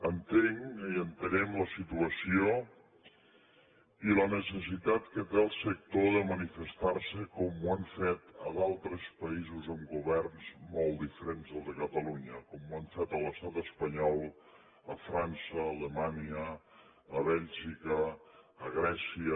entenc i entenem la situació i la necessitat que té el sector de manifestar se com ho han fet a d’altres països amb governs molt diferents del de catalunya com ho han fet a l’estat espanyol a frança a alemanya a bèlgica a grècia